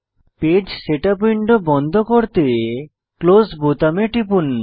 page setup window বন্ধ করতে close বোতামে টিপুন